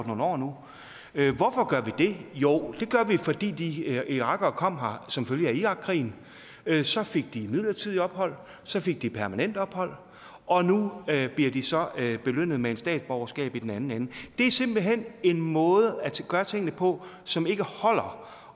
nogle år nu hvorfor gør vi det jo det gør vi fordi de irakere kom her som følge af irakkrigen så fik de midlertidigt ophold så fik de permanent ophold og nu bliver de så belønnet med et statsborgerskab i den anden ende det er simpelt hen en måde at gøre tingene på som ikke holder